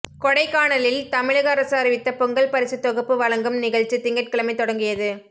கொடைக்கானலில் தமிழக அரசு அறிவித்த பொங்கல் பரிசுத் தொகுப்பு வழங்கும் நிகழ்ச்சி திங்கட்கிழமை தொடங்கியது